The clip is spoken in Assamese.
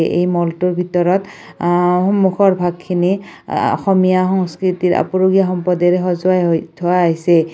এই ম'লটোৰ ভিতৰত আহ্ সন্মুখৰ ভাগখিনি আ অসমীয়া সংস্কৃতিৰ আপুৰুগীয়া সম্পদেৰে সজোৱাই হৈ থোৱা হৈছে।